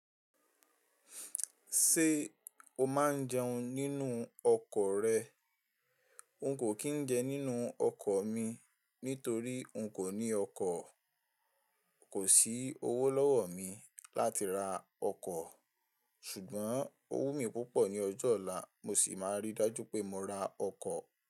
Ṣé o máa ń jẹun nínú ọkọ̀ rẹ? N kò kí n jẹun nínú ọkọ̀ mi nítorí n kò ní ọkọ̀. Kò sí owó lọ́wọ́ mi láti ra ọkọ̀, ṣùgbọ́n owó mi púpọ̀ ní ọjọ́ ọ̀la mo sì máa rí dájú pé mo ra ọkọ̀.